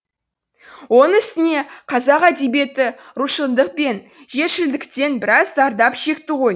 оның үстіне қазақ әдебиеті рушылдық пен жершілдіктен біраз зардап шекті ғой